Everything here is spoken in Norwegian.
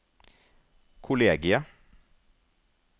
kollegiet